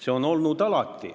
See on alati nii olnud.